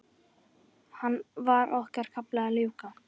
Var okkar kafla að ljúka?